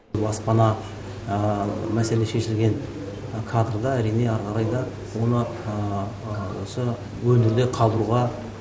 баспана мәселе шешілген кадрда әрине әрі қарай да оны осы өңірде қалдыруға